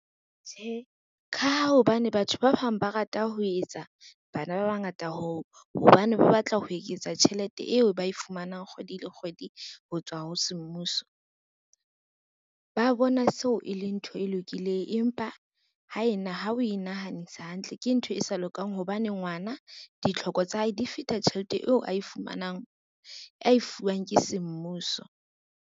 Tjhe, ka ha hobane batho ba bang ba rata ho etsa bana ba bangata hobane ba batla ho eketsa tjhelete eo ba e fumanang kgwedi le kgwedi ho tswa ho semmuso, ba bona seo e le ntho e lokileng empa ha we nahanisa hantle, ke ntho e sa lokang hobane ngwana ditlhoko tsa hae di feta tjhelete eo a e fuwang ke semmuso.